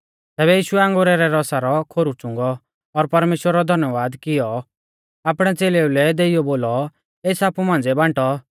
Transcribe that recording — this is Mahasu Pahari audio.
तैबै यीशुऐ अंगुरा रै रसा रौ खोरु च़ुंगौ और परमेश्‍वरा रौ धन्यबाद की इयौ आपणै च़ेलेऊ लै देइयौ बोलौ एस आपु मांझ़िऐ बांटौ